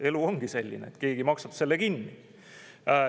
Elu ongi selline, et keegi maksab selle kinni.